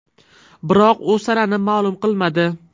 Biroq u sanani ma’lum qilmadi.